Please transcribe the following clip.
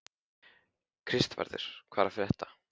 Kristvarður, hvað er að frétta?